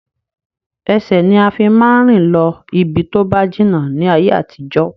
Ẹsẹ̀ ni a fi máa ń rìn lọ ibi tóba jìnnà ni ayé àtijọ́